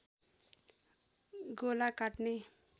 गोला काट्ने